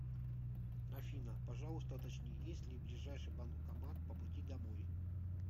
афина пожалуйста уточни есть ли ближайший банкомат по пути домой